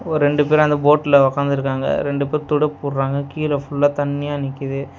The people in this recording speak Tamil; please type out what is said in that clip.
ஒரு ரெண்டு பேர் அந்த போட்ல உக்காந்துருக்காங்க ரெண்டு பேர் துடுப்பு போடுறாங்க கீழ ஃபுல்லா தண்ணியா நிக்குது.